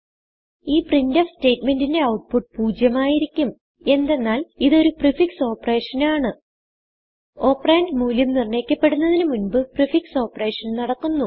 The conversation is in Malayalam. ഈ പ്രിന്റ്ഫ് സ്റ്റേറ്റ്മെന്റിന്റെ ഔട്ട്പുട്ട് 0 ആയിരിക്കും എന്തെന്നാൽ ഇതൊരു പ്രീഫിക്സ് operationആണ് ഓപ്പറണ്ട് മൂല്യം നിർണയിക്കപ്പെടുന്നതിന് മുൻപ് പ്രീഫിക്സ് ഓപ്പറേഷൻ നടക്കുന്നു